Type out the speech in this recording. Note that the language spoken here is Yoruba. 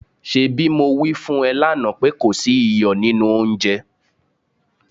ṣebí mo wí fún ẹ lánàá pé kò sí iyọ̀ nínú oúnjẹ?